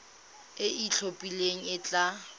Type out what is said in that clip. e e itlhophileng e tla